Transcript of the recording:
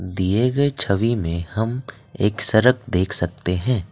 दिए गए छवि में हम एक सड़क देख सकते हैं।